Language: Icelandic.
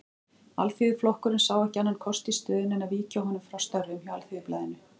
Alþýðuflokkurinn sá ekki annan kost í stöðunni en að víkja honum frá störfum hjá Alþýðublaðinu.